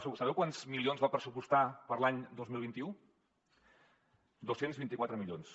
sabeu quants milions va pressupostar per a l’any dos mil vint u dos cents vint i quatre milions